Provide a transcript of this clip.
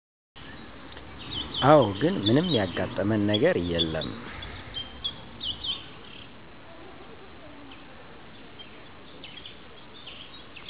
አወ ግን ምንም ያጋጠመን ነገር የለም